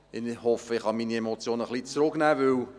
Ich hoffe, ich kann meine Emotionen etwas zurücknehmen.